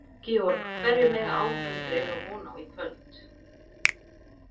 Georg, hverju mega áhorfendur eiga von á í kvöld?